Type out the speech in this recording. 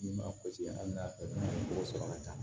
N'i m'a hali n'a sɔrɔ n'a tɔgɔ sɔrɔ ka ca